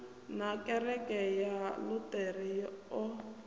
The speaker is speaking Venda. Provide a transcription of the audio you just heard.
na kereke ya luṱere o